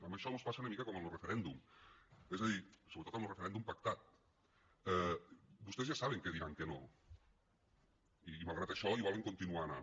amb això mos passa una mica com en lo referèndum és a dir sobretot amb lo referèndum pactat vostès ja saben que diran que no i malgrat això hi volen continuar anant